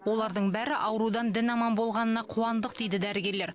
олардың бәрі аурудан дін аман болғанына қуандық дейді дәрігерлер